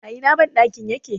a Ina bandakin yake?